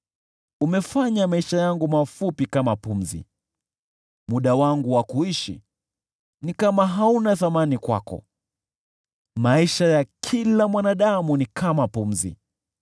Umefanya maisha yangu mafupi kama pumzi; muda wangu wa kuishi ni kama hauna thamani kwako. Maisha ya kila mwanadamu ni kama pumzi.